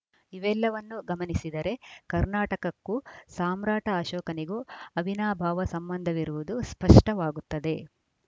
ಇವೆಲ್ಲವನ್ನೂ ಗಮನಿಸಿದರೆ ಕರ್ನಾಟಕಕ್ಕೂ ಸಾಮ್ರಾಟ ಅಶೋಕನಿಗೂ ಅವಿನಾಭಾವ ಸಂಬಂಧವಿರುವುದು ಸ್ಪಷ್ಟವಾಗುತ್ತದೆ